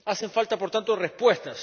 Hacen falta, por tanto, respuestas.